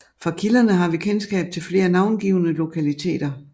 Fra kilderne har vi kendskab til flere navngivne lokaliteter